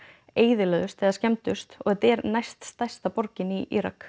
eyðilögðust eða skemmdust og þetta er næststærsta borgin í Írak